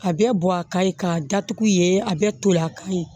A bɛɛ bɔ a ka ye k'a datugu yen a bɛɛ tol'a ka ye